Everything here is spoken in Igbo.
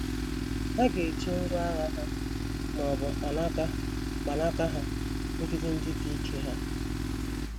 Ha ga - eji ngwá agha ha, ma ọ bụ “ mkpanaka mkpanaka ” ha megide ndị dike ha.